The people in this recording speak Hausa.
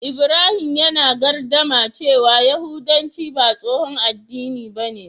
Ibrahim yana gardama cewa yahudanci ba tsohon addini bane.